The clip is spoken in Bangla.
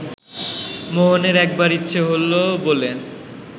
মোহনের একবার ইচ্ছে হলো বলে